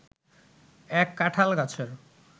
এক কাঁঠাল গাছের